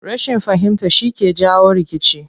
Rashin fahimta shi ke jawo rikici.